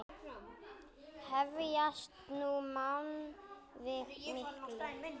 Hefjast nú mannvíg mikil.